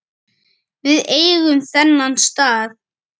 Við eigum þennan stað